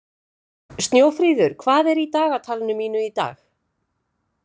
Snjófríður, hvað er í dagatalinu mínu í dag?